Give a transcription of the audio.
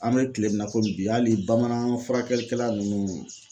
An mɛ kile min na komi bi hali bamanan furakɛlikɛla nunnu